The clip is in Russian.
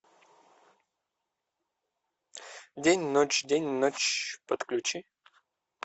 день ночь день ночь подключи